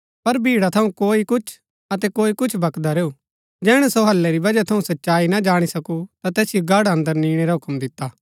पर भीड़ा थऊँ कोई कुछ अतै कोई कुछ बकदा रैऊ जैहणै सो हल्लै री वजह थऊँ सच्चाई ना जाणी सकू ता तैसिओ गढ़ अन्दर निणै रा हूक्म दिता